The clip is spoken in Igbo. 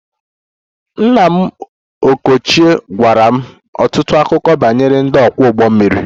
Nna m ochie gwara m ọtụtụ akụkọ banyere ndị ọkwọ ụgbọ mmiri